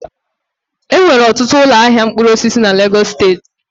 Enwere ọtụtụ ụlọ ahịa mkpụrụ osisi na Legos steeti